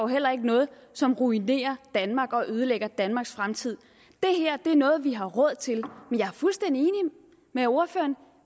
heller ikke noget som ruinerer danmark og ødelægger danmarks fremtid det her er noget vi har råd til men jeg er fuldstændig enig med ordføreren